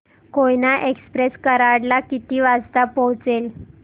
Koyna express Karad ला किती वाजता पोहचेल